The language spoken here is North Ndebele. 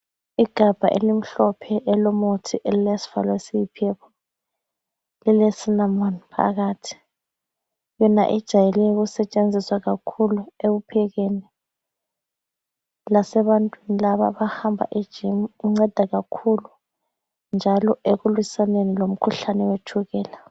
Igabha elimhlophe elomuthi ,elilesivalo esiyi purple .Elile cinnamon phakathi, yona ijayele ukusetshenziswa kakhulu ekuphekeni ,lasebantwini laba abahamba eGym inceda kakhulu .Njalo ekulwisaneni lomkhuhlane wetshukela .